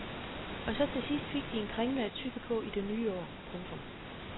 Og så til sidst fik de en kringle at tygge på i det nye år. punktum